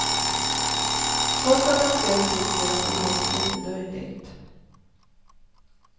Trots att han själv tycker att det låter lite löjligt.